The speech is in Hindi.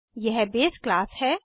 यह बेस क्लास है